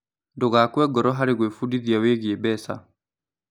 Ndũgakue ngoro harĩ gwĩbundithia wĩgiĩ mbeca.